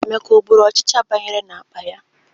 Emeka ọ gburu ọchịcha banyere n'akpa ya?